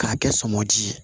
K'a kɛ sɔmɔji ye